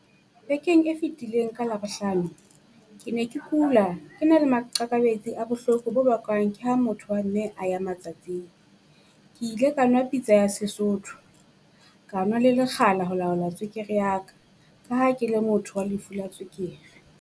Bekeng e fitileng ka Labohlano, ke ne ke kula, ke na le maqakabetsi a bohloko bo bakwang ke ha motho wa mme a ya matsatsing. Ke ile ka nwa pitsa ya Sesotho, ka nwa le lekgala ho laola tswekere ya ka ka ha ke le motho wa lefu la tswekere.